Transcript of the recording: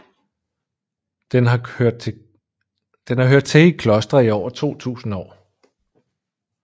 Den har hørt til i klostre i over 2000 år